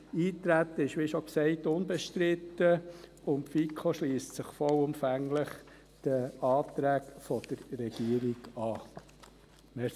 Das Eintreten ist – wie schon gesagt – unbestritten, und die FiKo schliesst sich vollumfänglich den Anträgen der Regierung an.